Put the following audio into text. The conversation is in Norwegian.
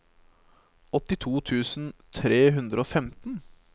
åttito tusen tre hundre og femten